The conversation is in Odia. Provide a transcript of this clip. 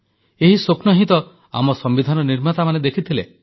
ଏହି ସ୍ୱପ୍ନ ହିଁ ତ ଆମ ସମ୍ବିଧାନ ନିର୍ମାତାମାନେ ଦେଖିଥିଲେ